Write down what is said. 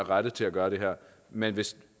rette til at gøre det her men hvis